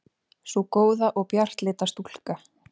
Sú góða og bjartleita stúlka.